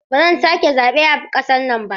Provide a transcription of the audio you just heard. Ba zan sake zaɓe a ƙasar nan ba.